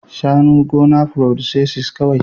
shanu gona producesses kwai